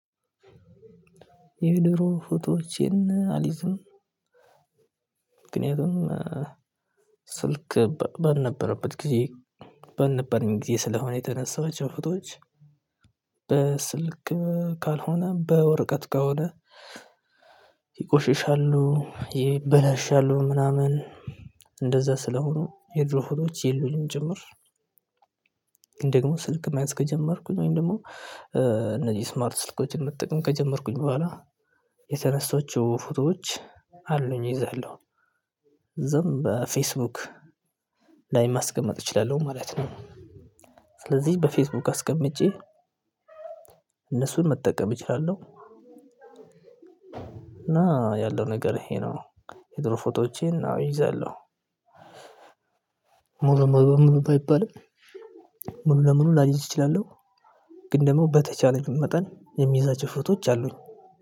የድሮ ፎቶዎቼን አልይዝም። ምክንያቱም ስልክ ባልነበረበት ጊዜ ባልነበረኝ ጊዜ ስለሆነ የተነሳዋቸው ፍቶዎች በስልክ ካልሆነ በወረቀት ከሆነ ይቆሽሻሉ ይበላሻሉ ምናምን። እንደዛ ስለሆኑ የድሮ ፎቶች የሉኝም ጭምር። ግን ደግሞ ስልክ መያዝ ከጀመርኩ ወይም ደግሞ እነዚህ ስማርት ስልኮችን መጠቀም ከጀመርኩኝ በኋላ የተነሳዋቸው ፎቶዎች አሉኝ እይዛለሁ። ብዙም በፌስ ቡክ ላይ ማስቀመጥ እችላለሁኝ ማለት ነው። ስለዚህ በፌስቡክ አስቀምጬ እነሱን መጠቀም እችላለሁ። እና ያለው ነገር ይሄ ነው የድሮ ፎቶዎቼን አዎ እይዛለሁ። ሙሉ በሙሉ ሙሉ ባይባልም ምኑ ለምኑ ላይዝ እችላለሁ። ግን ደግሞ በተቻለኝ መጠን የሚያዛች ፍቶዎች አሉኝ